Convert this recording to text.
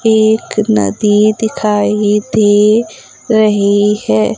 एक नदी दिखाई दे रही है।